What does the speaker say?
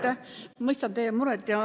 Ma mõistan teie muret.